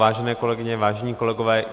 Vážené kolegyně, vážení kolegové.